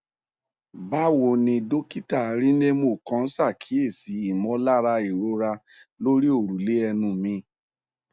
báwo ni dókítà rynnemo kàn ṣàkíyèsí ìmọlára ìrora lórí òrùlé ẹnu mi